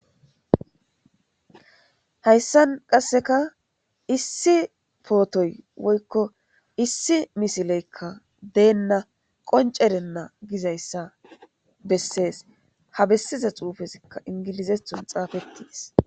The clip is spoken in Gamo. Hayssan qasseka issi pootoy woykko issi misileykka deenna qoncerenna gizayssa bessees ha bessiza xuufezikka ingilizethon xaafettiis.